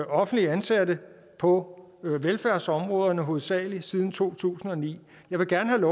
offentligt ansatte på velfærdsområdet hovedsagelig siden to tusind og ni jeg vil gerne